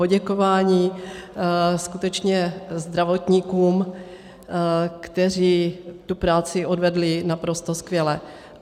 Poděkování skutečně zdravotníkům, kteří tu práci odvedli naprosto skvěle.